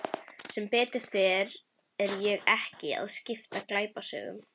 Sem betur fer er ég ekki að skrifa glæpasögu.